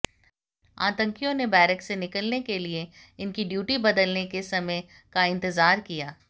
आतंकियों ने बैरक से निकलने के लिए इनकी ड्यूटी बदलने के समय का इंतजार किया